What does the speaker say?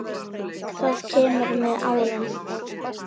Það kemur með árunum.